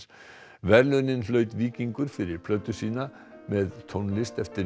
verðlaunin hlaut Víkingur fyrir plötu sína með tónlist eftir